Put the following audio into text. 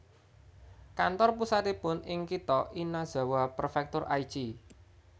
Kantor pusatipun ing kitha Inazawa Prefektur Aichi